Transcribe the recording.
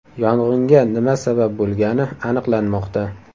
Yong‘inga nima sabab bo‘lgani aniqlanmoqda.